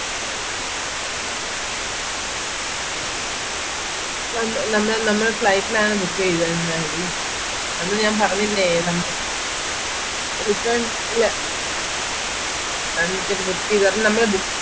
നമ്മൾ നമ്മൾ flight ലാണ് book ചെയ്തേ ന്നാടി നമ്മൾ ഞാൻ പറഞ്ഞില്ലേ നമ return എല്ല return ticket ചെയ്താല് നമ്മൾ book